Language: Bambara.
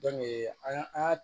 an ka